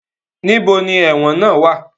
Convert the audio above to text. Níbo ni ẹ̀wọ̀n náà wá à?